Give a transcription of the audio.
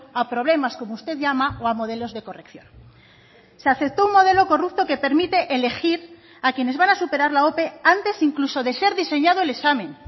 a problemas como usted llama o a modelos de corrección se aceptó un modelo corrupto que permite elegir a quienes van a superar la ope antes incluso de ser diseñado el examen